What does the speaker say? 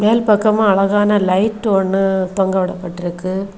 மேல் பக்கமா அழகான லைட் ஒன்னு தொங்கவிடப்பட்டிருக்கு.